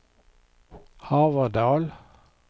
Haverdal